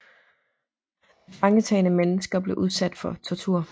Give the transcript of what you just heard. Tilfangetagne mennesker blev udsatte for tortur